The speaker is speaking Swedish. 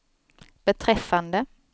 beträffande